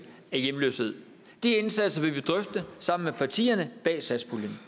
af hjemløshed de indsatser vil vi drøfte sammen med partierne bag satspuljen